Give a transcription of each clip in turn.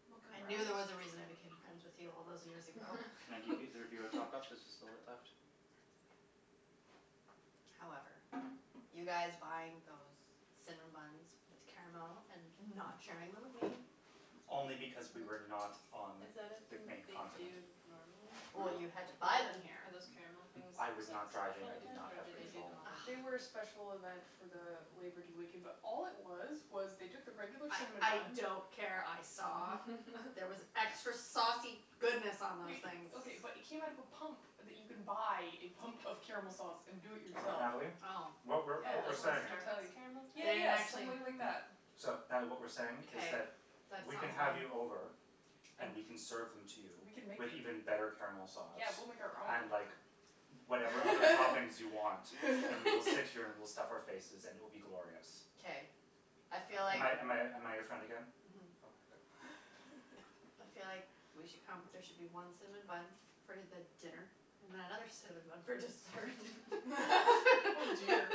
woman. Mocha and I knew there brownies. was a reason I became friends with you all those years ago. Can I give either of you a top up? There's just a bit left. However, you guys buying those cinnamon buns with caramel and not sharing them with me. Only because we were not on Is that a the thing that main they do continent. normally? Well, you had to Like, buy them are here. those caramel things I like a was not driving. special I did event not or have do they do them control. all the They were a time? special event for the Labour Day weekend, but all it was was they took the regular cinnamon I buns. don't care, I saw. There was extra saucy goodness on those Wait, things. okay, but it came out of a pump that you can buy, a pump of caramel sauce, and do it yourself. Natalie, Oh, what we're Oh, what we're like saying. really? Starbucks caramel Yeah, style? They didn't yeah, just actually. like that. So, Natalie, what we're saying is Okay, that that sounds we can have you right. over. And we can serve them to you. We can make With them. even better caramel sauce. Yeah, we'll make our And own. like whatever other toppings you want and we will sit here and we'll stuff our faces and it will be glorious. Okay, I feel Am like. I am I am I your friend again? Mhm. Okay, good. I feel like we should come, there should be one cinnamon bun for the dinner and then another cinnamon bun for dessert. Oh dear.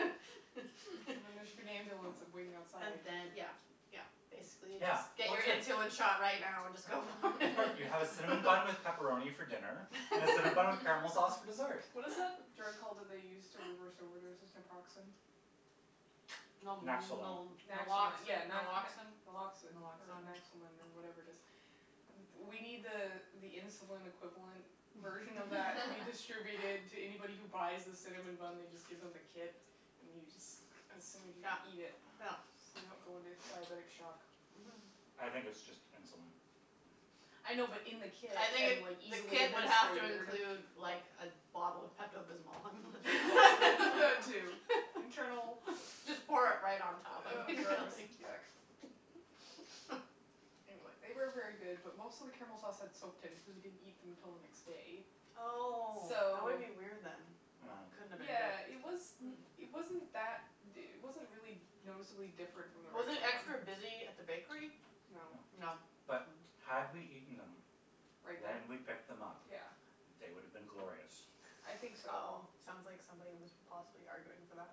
There should be an ambulance waiting outside. And then, yeah, yeah, basically Yeah, just. Get well, your it's good. insulin shot right now and just go for it. You have a cinnamon bun with pepperoni for dinner and a cinnamon bun with caramel sauce for dessert. What is the drug called that they use to reverse overdoses? Naproxen? Naxolone. Naxalone, yeah. yeah, Naloxin, Naloxin. Naloxin or Naxolin or whatever it is. We need the uh the insulin equivalent version of that to be distributed to anybody who buys the cinnamon bun. They just give them the kit and you just assume you Yeah, eat it. yeah. So you don't go into diabetic shock. Mhm. I think it's just insulin. I know, but in the kit I think and, like, the easily kit would have to administered. include like a bottle of Pepto Bismol. Too. Internal. Just pour it right on top. Oh, gross, yuck. Anyway, they were very good, but most of the caramel sauce had soaked in cuz we didn't eat them until the next day. Oh, that would So.Yeah, be it was. weird then. It wasn't that, it wasn't really noticeably different from the Was regular it one. extra busy at the bakery? No. No, but had we eaten them. Right When then? we picked them up. Yeah. They would have been glorious. I think so. Oh, sounds like somebody was possibly arguing for that.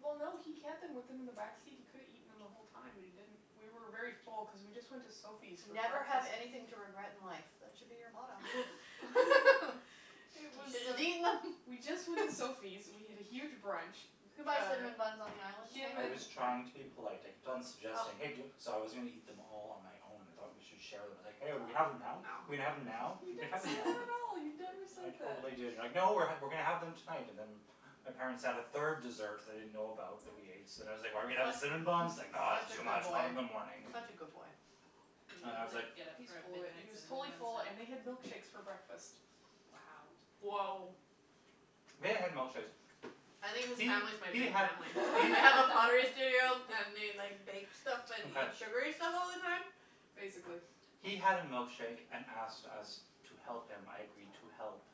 Well, no, he had them with him in the back seat. He could've eaten them the whole time, but he didn't. We were very full because we just went to Sophie's for Never have breakfast. anything to regret in life, that should be your motto. You should have just eaten them. We just went to Sophie's. We had a huge brunch. You can buy cinnamon buns on the island, can't I you? was trying to be polite. I kept on suggesting hey do- So I was going to eat them all on my own. I thought we should share them. I was like, hey, are we going to have them now? Are we going to have them now? You didn't say that at all. You never I said that. totally did you were like, no, we're going to have them tonight. And then my parents had a third dessert that I didn't know about that we ate, so then I was like, are we going to have the cinnamon buns? It's Such a like, no, it's too good much, we'll have them in the boy, morning. such a good boy. You didn't get up He's for a full of it. He midnight was totally cinnamon full, bun and we had snack? milkshakes for breakfast. Wow. Woah. We had milkshakes. I think his family's my new family. They have a pottery studio and they like bake stuff and eat sugary stuff all the time? Basically. He had a milkshake and asked us to help him, I agreed to help.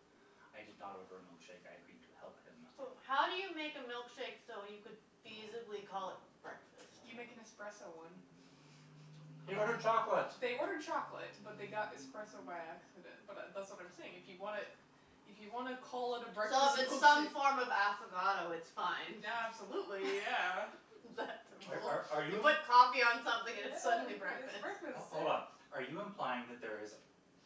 I did not order a milkshake, I agreed to help him. So, how do you make a milkshake so you could feasibly call it breakfast? You make an espresso one. He ordered chocolate. They ordered chocolate, but they got espresso by accident. But that's what I'm saying. If you want to, if you want to call it a So breakfast if it's some milkshake. form of affogato, it's fine. Yeah, absolutely, yeah. Are are You you? put coffee on something and it's suddenly Yeah, it's breakfast. breakfast, Hold on, yeah. are you implying that there is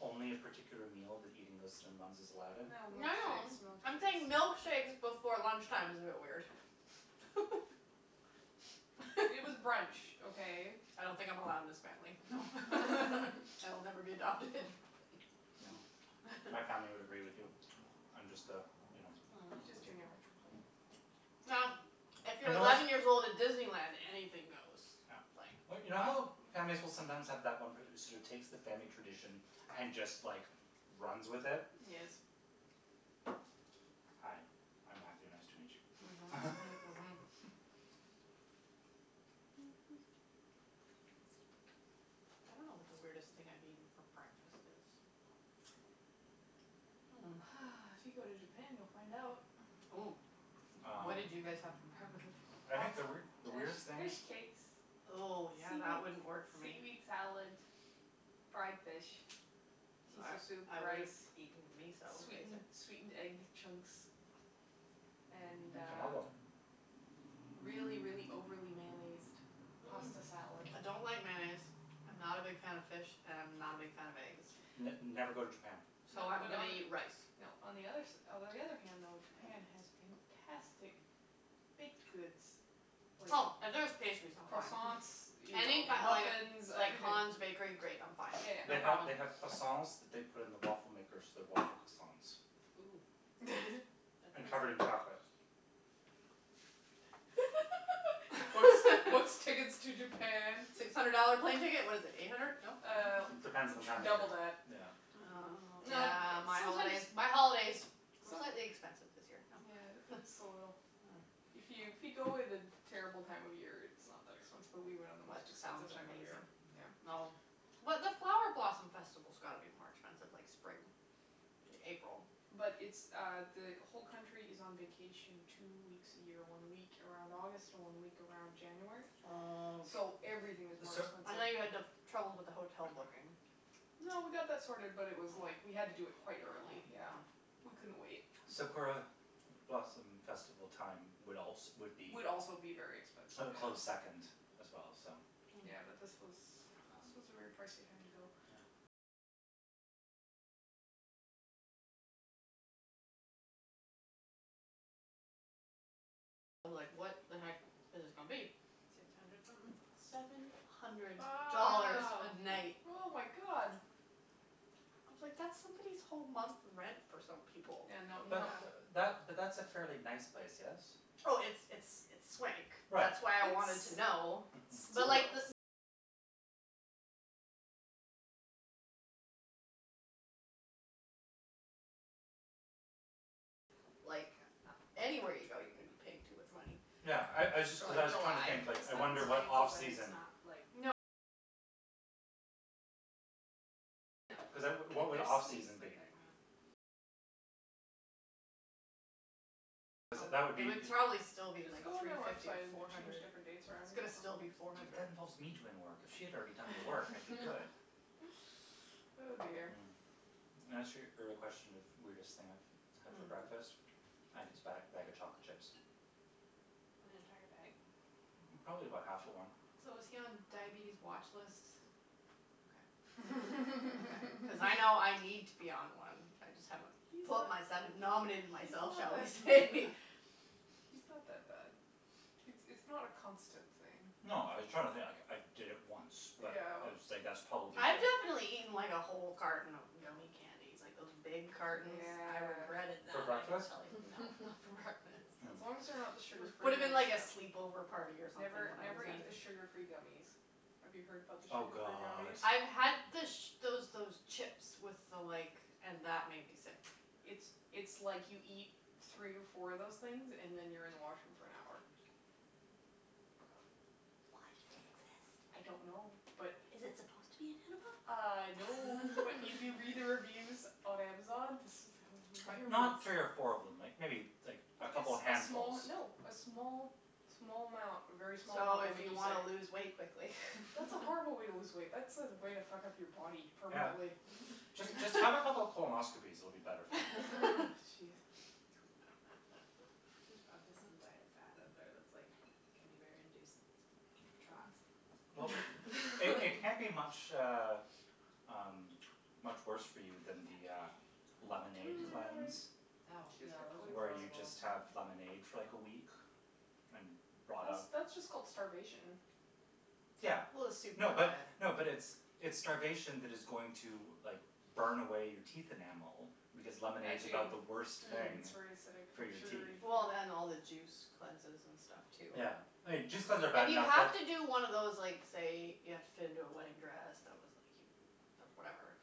only a particular meal that eating those cinnamon buns is allowed in? No, No, no, milkshakes, I'm saying milkshakes. milkshakes before lunch time is a bit weird. It was brunch, okay? I don't think I'm allowed in this family. So I'll never be adopted. No. My family would agree with you. I'm just the, you know. I'm just giving you a hard time. Now, if you're eleven years old at Disneyland, anything goes. Yeah. Like. But you know how families will sometimes have that one person who sort of takes the family tradition and just, like, runs with it. Yes. Hi, I'm Matthew. Nice to meet you. Mhm, Mhm, Mhm. I don't know what the weirdest thing I've eaten for breakfast is. If you go to Japan, you'll find out. Oh, what did you guys have for breakfast? I think the weird the There's weirdest thing. fish cakes. Oh, yeah, that wouldn't Seaweed work for seaweed me. salad, fried fish, I miso soup, I would rice. have eaten miso, Sweetened sweetened egg basically. chunks and uh. Tomago. Really, really overly mayonnaised pasta salad. I don't like mayonnaise, I'm not a big fan of fish and I'm not a big fan of eggs. N never go to Japan. So I'm going to eat rice. No, on the other s- Although, on the other hand though, Japan has fantastic baked goods. Oh, if there's pastries, I'm fine. Croissants, you know, Any muffins, like everything. Hans bakery, great, I'm fine. They have, they have croissants that they put in the waffle makers so they're waffle croissants. Ooh. And covered in chocolate. What's what's tickets to Japan? Six hundred dollar plane ticket. What is it, eight hundred? No? Uh, It depends on the time double of that. year. Yeah. Oh, yeah, my holidays, my holidays were slightly expensive this year. Yeah, just a little. If you if you go at a terrible time of year, it's not that expensive, but we went on the most That expensive sounds time of the year. amazing. Well. But the flower blossom festival's got to be more expensive, like, spring, April. But it's uh the whole country is on vacation two weeks a year, one week around August, one week around January. Oh. So everything is more I know you had expensive. trouble with the hotel booking. No, we got that sorted, but it was like we had to do it quite early, yeah, we couldn't wait. Sakura blossom festival time would also would be. Would also be very expensive. A close second as well, so. Yeah, but this was this was a very pricey time to go. I was like, what the heck is this going to be? Six hundred something? Seven hundred Wow, dollars a night. oh, my God. I was like, that's somebody's whole month rent for some people. Yeah, no. But that but that's a fairly nice place, yes? Oh, it's it's it's swank. Right, That's why I wanted to know. Mhm. Like, anywhere you go, you're going to be paying too much money. Yeah, I I just cuz I was trying to think, like, It sounds I fancy wonder what off but it's season. not, like. Like, there's suites, but they're not. Cuz that would be. It would probably still be Just like go on three their fifty, website and four change hundred. different dates around. But that involves me doing work. If she had already done the work, I'd be good. Oh, dear. Mm. In answer your question of weirdest thing I've had for breakfast, I think it's a bag bag of chocolate chips. An entire bag? Probably about half of one. So is he on diabetes watch lists? Okay. Cuz I know I need to be on one. I just haven't put myself, He's not nominated that- He's myself, not shall we that say. he's not that bad. It's it's not a constant thing. No, I was trying to think. Like, I did it once, but it Ew. was like that's probably I've it. definitely eaten, like, a whole carton of gummie candies, like those big cartons. I Yeah. regretted For that, I can breakfast? tell you. No, not for breakfast. As long as they're not the It sugar free would have ones, been like a though. sleepover party or something Never, when I was never eat the younger. sugar free gummies. Have you heard about the Oh, sugar free god. gummies? I've had the those those chips with the like and that made me sick. It's it's like you eat three or four of those things and then you're in the washroom for an hour. Why do I they exist? don't know, but. Is it supposed to be an enema? I know, but if you read the reviews on Amazon. Like, I'm not curious. three or four of them, like like maybe a Like a couple of small. handfuls. No, a small, small amount, a very small amount So will if make you you want sick. to lose weight quickly. That's a horrible way to lose weight. That's a way to fuck up your body Yeah. permanently. Just have a couple of colonoscopies, it'll be better for you. Jeez. There's probably some diet fad out there that's like gummie bear induced trots. Well, they can't be much uh um much worse for you than the uh lemonade cleanse. Oh, Where yeah, you those just have are horrible. lemonade for like a week and rot out. That's just called starvation. Yeah. Well, a soup No but, diet. no, but it's it's starvation that is going to like burn away your teeth enamel because lemonade's about the worst thing It's very acidic for and your teeth. sugary. Well, and all the juice cleanses and stuff too. Yeah, juice cleanses are bad If you enough have but. to do one of those like say you have to fit into a wedding dress that was like whatever,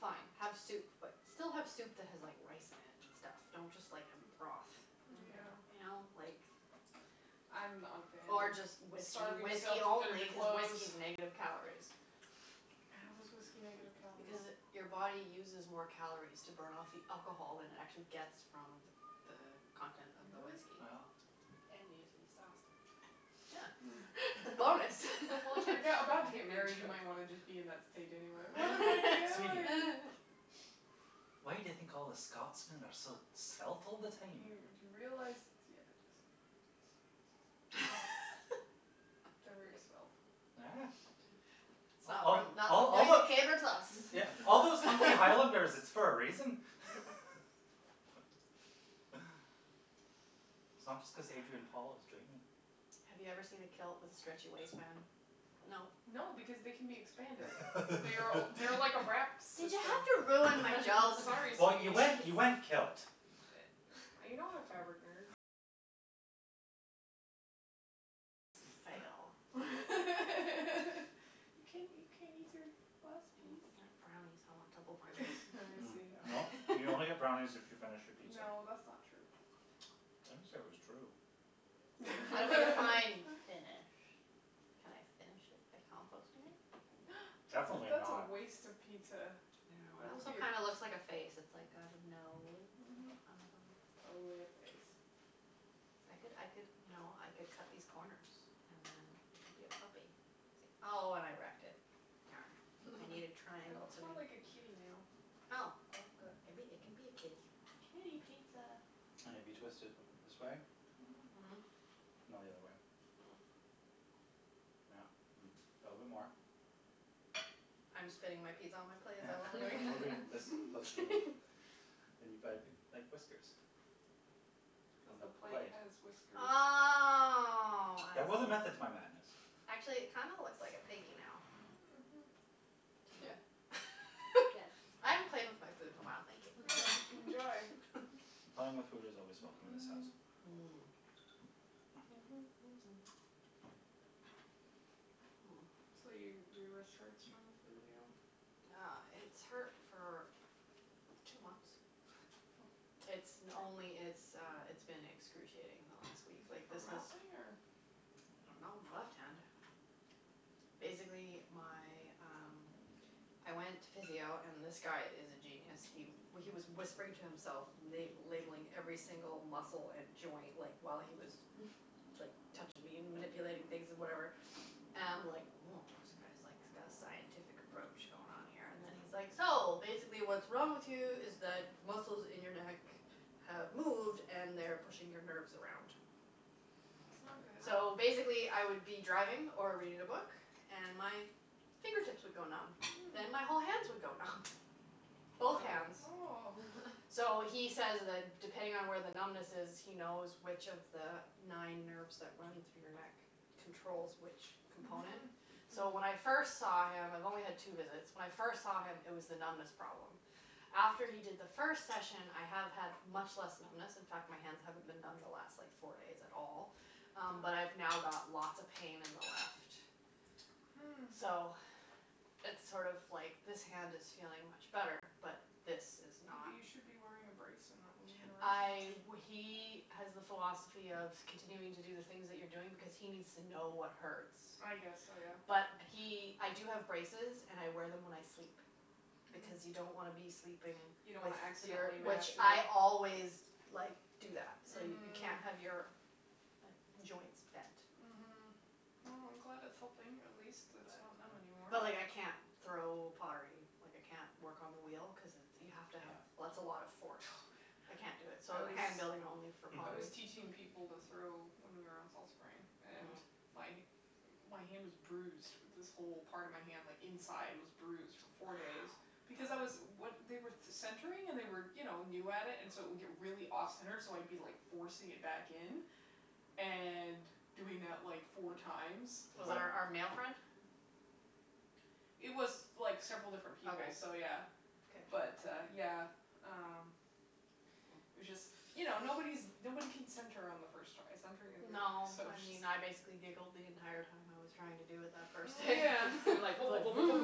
fine, have soup, but still have soup that has rice in it and stuff. Don't just like have a broth. Yeah. You know, like. I'm not a fan Or of just whiskey, starving myself whiskey to fit only into because clothes. whiskey is negative calories. How is whiskey negative calories? Because it your body uses more calories to burn off the alcohol than it actually gets from the the content of the Really? whiskey. Yeah. And you get to be sauced all the time. Yeah. Bonus. Well, if you're about to get married, you might want to just be in that state anyway. Sweetie. Why do you think all the Scotsmen are so svelt all the Do time? you realize, yeah, just They're very svelt. It's not it's not like a caber toss. Yeah, all those hunky highlanders, it's for a reason. It's not just cuz Adrian Paul is dreamy. Have you ever seen a kilt with a stretchy waistband? No. No, because they can be expanded. They're they're like a wrap Did you system. have to ruin my joke? Sorry, Well, sweetie. you went you went kilt. I know, fabric nerd. It's a fail. You can't you can't eat your last No. piece? Brownies, I want double brownies. Well, you only get brownies if you finish your pizza. No, that's not true. I didn't say it was true. Well, define finish. Can I finish it by composting it? That's a Definitely that's a not. waste of pizza. It That would be also a. kind of looks like a face. It's like got a nose. Mhm. Totally a face. I could I could, you know, I could cut these corners and then it could be a puppy. See? Oh, and I wrecked it. Darn. I need a It triangle. looks more like a kitty now. Oh, well, good. It can it can be a kitty. Kitty pizza. And if you twist it this way. Mhm. Mhm. No, the other way. Yeah. A little bit more. I'm spinning my pizza on my plate, is that what we're You're doing? moving this closer to me. And you've got a big, like, whiskers on The the plate plate. has whiskers. Oh, I There was a see. method to my madness. Actually, it kind of looks like a piggy now. Mhm, yeah. Yes, I haven't played with my food in a while, thank you. Enjoy. Playing with food is always welcome in this house. Mhm. So, your your wrist hurts from the physio. Yeah, it's hurt for two months. It's only it's uh, it's been excruciating the last week. Is it from ralphing or? I don't know. My left hand. Basically, my, um, I went to physio, and this guy is a genius. He he was whispering to himself, la- labelling every single muscle and joint, like, while he was like touching me and manipulating things and whatever and I'm like woah, this guy's like got a scientific approach going on here. And then he's like, so, basically what's wrong with you is that muscles in your neck have moved and they're pushing your nerves around. That's not good. So basically, I would be driving or reading a book and my fingertips would go numb, then my whole hands would go numb. Both hands. Oh. So he says that depending on where the numbness is, he knows which of the nine nerves that run through your neck controls which component. Mhm. So when I first saw him. I've only had two visits. When I first saw him, it was the numbness problem. After he did the first session, I have had much less numbness. In fact, my hands haven't been numb the last like four days at all, but I've now got lots of pain in the left. Hm. So it's sort of like this hand is feeling much better, but this is not. Maybe you should be wearing a brace and not moving it around I too much. he has the philosophy of continuing to do the things that you're doing because he needs to know what hurts. I guess so, yeah. But he I do have braces and I wear them when I sleep. Because you don't want to be sleeping You if don't want to you're. accidentally mash Which I it. always like do that so, you can't have your joints bent. Mhm. Well, I'm glad it's helping. At least it's not numb anymore. But but like I can't throw pottery, like I can't work on the wheel cuz you have to have- That's a lot of force. Oh, I yeah. can't do it, so hand building only for I was pottery. teaching people to throw, when we were on Fall Spring, and my hand was bruised. This whole part of my hand like inside was bruised for four days because I was- They were centering and they were you know new at it and so it would get really off center, so I'd be like forcing it back in and doing that like four times. Was it our our male friend? It was like several different people, so Okay. yeah. Okay. But uh yeah, um, it was just, you know, nobody's nobody can center on the first try. Centring is No. so I mean, I basically just. giggled the entire time I was trying to do it that first day. Yeah. Like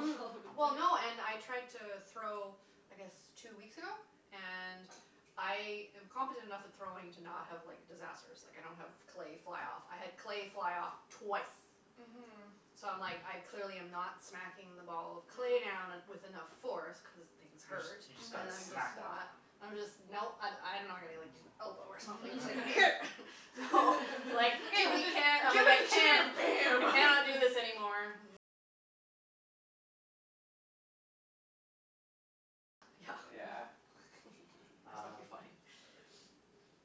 Well, no, and I tried to throw I guess two weeks ago. And I am competent enough at throwing to not have like disasters. Like, I don't have clay fly off. I had clay fly off twice. Mhm. So I'm like I clearly am not smacking the ball of clay down with enough force cuz things You just hurt. you just got to smack that down. I'm just no. I- I don't know I gotta like use my elbow or something. Here. Give it the I chair! can't Bam! I cannot do this anymore. Yeah. Um, Funny.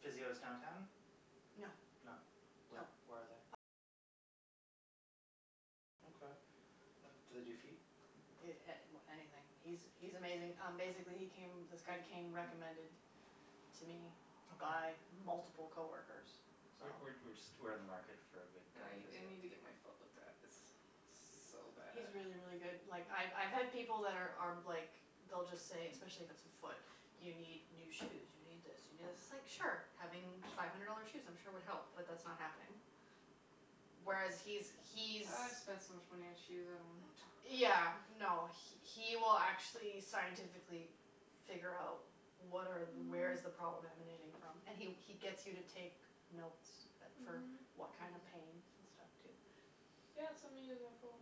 physio's downtown? No. No? Where where are they? Okay. Do they do feet? A- Anything. He's he's amazing. Um basically, he came, this guy came recommended to me by multiple coworkers, so. We're we're we're just we're in the market for a good guy I for I physio. need to get my foot looked at. It's so bad. He's really, really good. Like, I've I've had people that are are like they'll just say, especially if it's a foot, you need new shoes, you need this, you need this. It's like, sure, having five hundred dollar shoes I'm sure would help, but that's not happening. Whereas he's he's. I've spent so much money on shoes. I don't want to talk about Yeah, it. no, he will actually scientifically figure out what are where is the problem emanating from. And he he gets you to take notes for what kind of pain and stuff, too. Yeah, send me his info.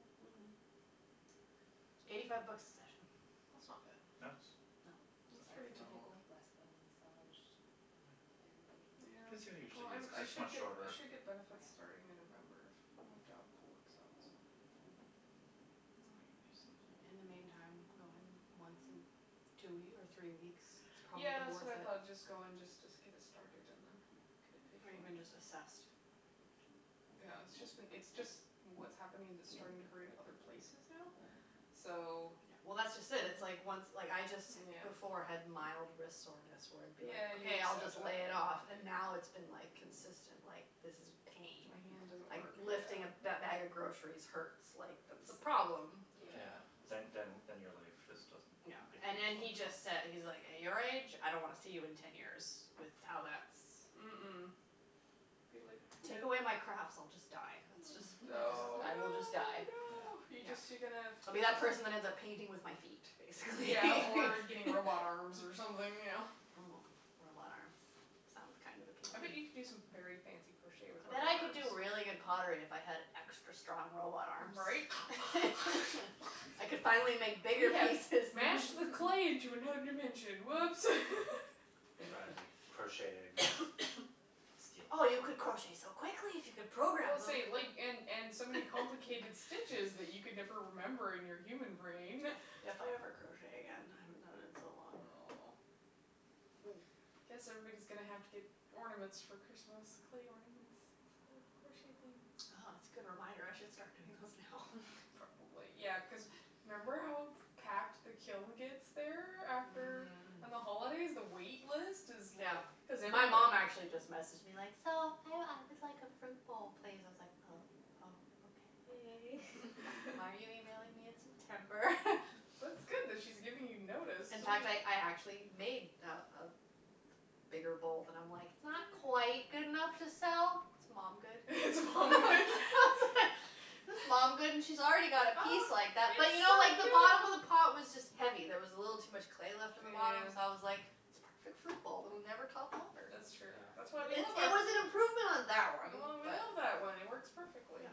Eighty five bucks a session. That's not That's bad. That's that's pretty pretty That's like normal. typical. less than massage therapy. Yeah, Physio well, usually is I'm cuz I it's should much I shorter. should get benefits starting in November, if my job works out, so. Then I can use those. In the meantime, I'm going once in two or three weeks is probably Yeah, that's worth what I it. thought. Just go and just get it started and then get it paid Or for. even just assessed. Yeah, it's just been it's just what's happening is, it's starting to hurt in other places now, so. Yeah, well, that's just it. It's like once like I just before had mild wrist soreness where it would be Yeah, you okay, I'll said just lay that. it off. And now it's been like consistent like this is pain. My hand doesn't Like, work, lifting a yeah. bag of groceries hurts. Like, that's a problem. Yeah, Yeah, that's then then then your life awful. just doesn't No, become and and he functional. just said, he's like, at your age, I don't want to see you in ten years with how that's. Mm- mm. Be Take away my like, crafts, I'll just no! die. That's just Oh, no, I will just no, die. no. You No, just you're gonna. I'll be that person that ends up painting with my feet, basically. Yeah, or getting robot arms or something, you know. Robot arms. Sounds kind of I bet appealing. you could do some very fancy crochet with I robot bet I could arms. do really good pottery if I had extra strong robot arms. Right? I could finally make bigger We have pieces. mashed the clay into another dimension. Whoops. Or crocheting. Oh, you could crochet so quickly if you could Well, program them. say, like, and and so many complicated stitches that you could never remember in your human brain. If I ever crochet again. I haven't done it in so long. Oh. I guess everybody's going to have to get ornaments for Christmas, clay ornaments, instead of crocheted things. Oh, that's a good reminder. I should start doing those now. Probably. Yeah, cuz remember how packed the kiln gets there after? On the holidays, the wait list is Yeah. like. My mom actually just messaged me, like, so, I would like a fruit bowl, please. I was like oh, oh, okay. Why are you emailing me in September? That's good that she's giving you notice. In fact, I I actually made a a bigger bowl. And I'm like it's not quite good enough to sell, it's mom good. It's mom good. It's mom good, and she's already got a piece like that, but you know like the bottom of the pot was just heavy. There was a little too much clay left in the bottom, so I was like it's a perfect fruit bowl, it will never topple over. That's true. That's why we love our. It was an improvement on that one. We But. love that one, it works perfectly.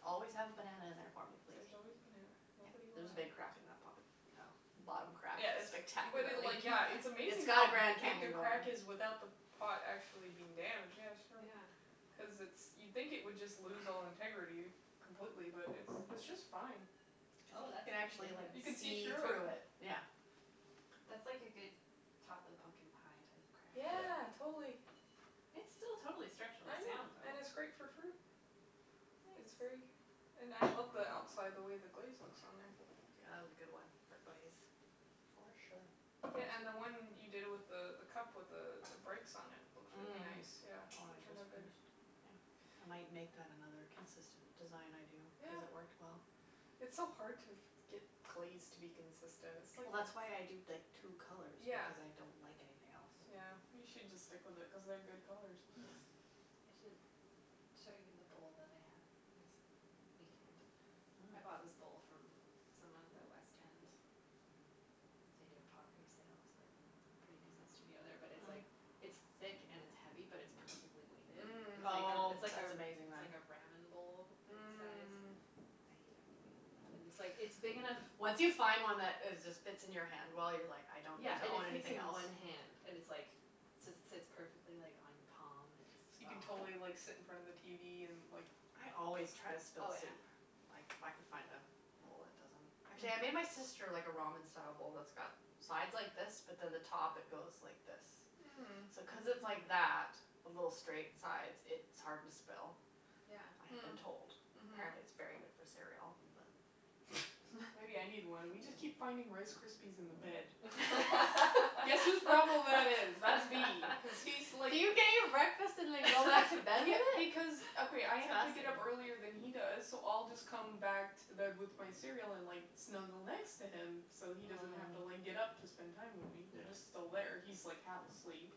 Just always have a banana in there for me, There's please. always a banana. Nobody will. There's a big crack in that pot. Oh. The bottom crack is Yes but spectacular. it, like, yeah. It's It's amazing got a how Grand big the Canyon going. crack is without the pot actually being damaged. Yeah, show her. Yeah. Cuz it's you'd think it would just lose all integrity completely, but it it's just fine. Oh, that's a You can pretty actually good one. like You can see see through it. through it, yeah. That's like a good top of the pumpkin pie type crack. Yeah, totally. It's still totally structurally I know, sound, though. and it's great for fruit. It's very. Nice. And I love the outside, the way the glaze looks on there. Yeah, that was a good one for glaze. For sure. Yeah, and the one you did with the the cup with the the breaks on it, it looks really nice, The yeah., one it I turned out just good. finished. Yeah. I might make that another consistent design I do Yeah. cuz it worked well. It's so hard to get glaze to be consistent, it's like. Well, that's why I do, like, two colours Yeah. because I don't like anything else. Yeah, you should just stick with it cuz they're good colours. Yeah. I should show you the bowl that I have next weekend. I bought this bowl from someone at the west end. They do a pottery sale cuz they have a pretty decent studio there, but it it's like it's thick and it's heavy, but it's perfectly weighted. It's like, Oh, it's like, that's amazing, it's then. like a ramen bowl size. Mm. I eat everything out of that. And it's like it's big enough. Once you find one that is just fits in your hand well, you're like I don't need Yeah, to and it own fits anything in else. one hand and it's like just sits perfectly like on your palm and just. So you can totally like sit in front of the tv and like. I always try to Oh spill yeah. soup. If I could find a bowl that doesn't. Actually, I made my sister like a ramen style bowl that's got sides like this, but then the top it goes like this. Mm. So cuz it's like that with little straight sides, it's hard to spill, I have been told. Yeah. Apparently, it's really good for Mm. cereal. But. Mhm. Maybe I need one. We just keep finding Rice Krispies in the bed. Guess whose problem that is? That's me cuz he's like. Do you get your breakfast and then go back to bed with Yeah, it? because, That's okay. I have to get up earlier fascinating. than he does, so I'll just come back to the bed with my cereal and like snuggle next to him so he doesn't have to like get up to spend time with me. He's Yeah. just still there. He's like half asleep